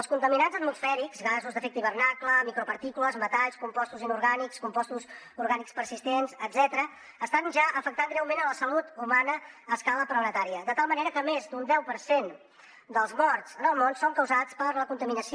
els contaminants atmosfèrics gasos d’efecte hivernacle micropartícules metalls compostos inorgànics compostos orgànics persistents etcètera estan ja afectant greument la salut humana a escala planetària de tal manera que més d’un deu per cent dels morts en el món són causats per la contaminació